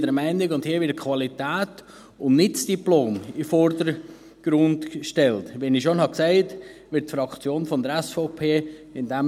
Hier wird die Qualität in den Vordergrund gestellt, nicht das Diplom.